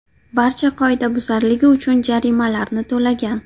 barcha qoidabuzarligi uchun jarimalarni to‘lagan.